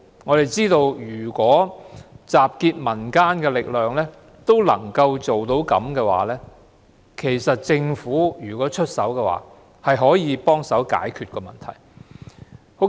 我們認為憑藉集結民間力量也能做到這個成績的話，如果加上政府出手，更能協助我們解決這問題。